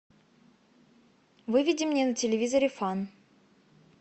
выведи мне на телевизоре фан